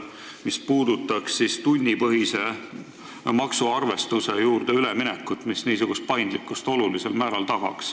Jutt on olnud üleminekust töötasu tunnipõhisele arvestusele, mis aitaks olulisel määral niisugust paindlikkust tagada.